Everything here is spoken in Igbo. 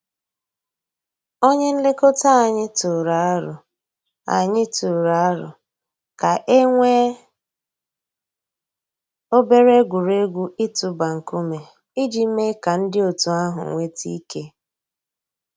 Ònyè nlèkò̩tà ànyị̀ tụrụ̀ àrò̩ ànyị̀ tụrụ̀ àrò̩ kà e nwee obere egwuregwu itụ̀bà ńkùmé̀ íjì mée kà ńdí ọ̀tù àhụ̀ nwete ike.